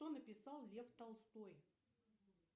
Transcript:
что написал лев толстой